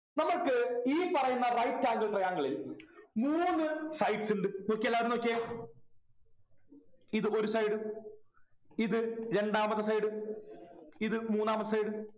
നമ്മക്ക് ഈ പറയുന്ന right angle triangle ൽ മൂന്നു sides ഉണ്ട് നോക്കിയേ എല്ലാരും നോക്കിയേ ഇത് ഒരു side ഇത് രണ്ടാമത്തെ side ഇത് മൂന്നാമത്തെ side